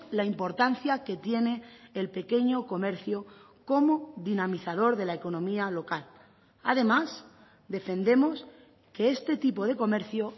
la importancia que tiene el pequeño comercio como dinamizador de la economía local además defendemos que este tipo de comercio